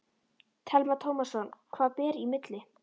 Telma Tómasson: Hvað ber í milli?